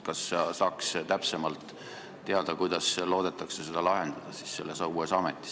Kas saaks täpsemalt teada, kuidas seda selles uues ametis loodetakse lahendada?